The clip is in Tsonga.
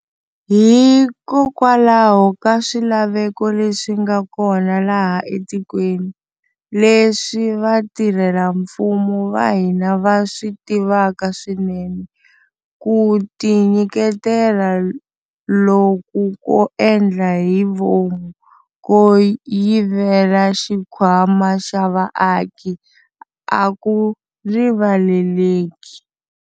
Hikokwalaho ka swilaveko leswi nga kona laha etikweni, leswi vatirhelafumo va hina va swi tivaka swinene, ku tinyiketela loku ko endla hi vomu ko yivela xikhwama xa vaaki a ku rivaleleki.